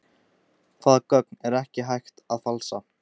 Hvaða gögn er ekki hægt að falsa?